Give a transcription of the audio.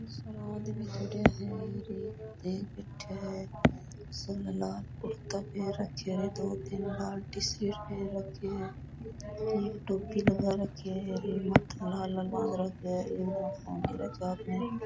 बहुत सारा आदमी खड़ा है --